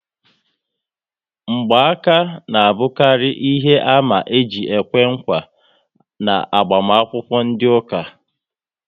Ngba aka ná abukari ihe àmà eji ekwe nkwa n'agbamakwukwo ndị ụka